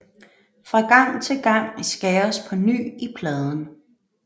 Fra gang til gang skæres på ny i pladen